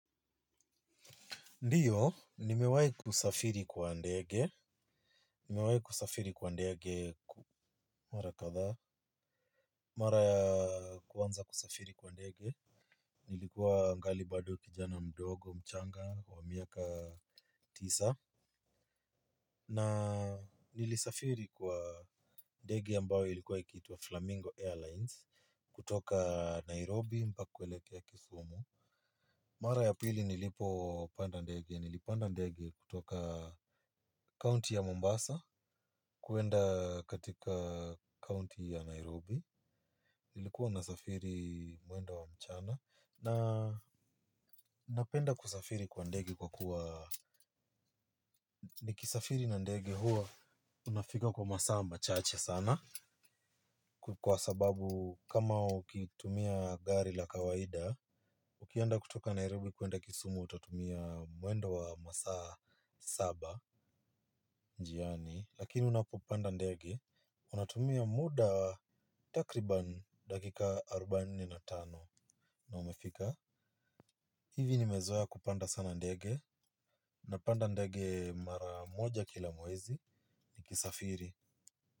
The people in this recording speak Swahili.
Ndiyo, nimewai kusafiri kwa ndege, nimewai kusafiri kwa ndege. Mara kadhaa, mara ya kwanza kusafiri kwa ndege, nilikuwa ningali bado kijana mdogo mchanga wa miaka tisa na nilisafiri kwa ndege ambayo ilikuwa ikiitwa flamingo airlines kutoka nairobi na kuelekea kisumu. Mara ya pili nilipopanda ndege, nilipanda ndege kutoka kaunti ya Mombasa kuenda katika kaunti ya Nairobi nilikuwa nasafiri mwendo wa mchana na napenda kusafiri kwa ndege kwa kuwa nikisafiri na ndege huwa unafika kwa masaa machache sana kwa sababu kama ukitumia gari la kawaida, ukienda kutoka Nairobi kuenda kisumu, utatumia mwendo wa masaa saba njiani. Lakini unapopanda ndege, unatumia muda takribani dakika arubaini na tano na umefika. Hivi nimezoea kupanda sana ndege. Nimepanda ndege mara moja kila mwezi nikisafiri.